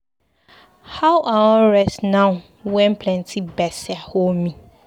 How I wan rest now wen plenty gbese hol me?